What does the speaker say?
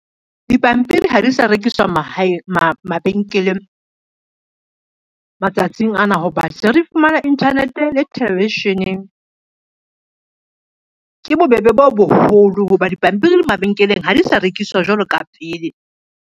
Dipampiri ha di sa rekiswa mabenkeleng, matsatsing ana ho ba hle re fumana internet le television-eng. Ke bobebe bo boholo ho ba dipampiri mabenkeleng ha di sa rekiswa jwalo ka pele.